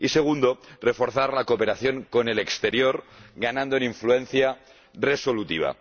Y segundo, reforzar la cooperación con el exterior, ganando en influencia resolutiva.